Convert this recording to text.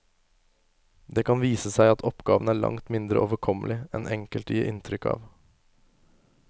Det kan vise seg at oppgaven er langt mindre overkommelig enn enkelte gir inntrykk av.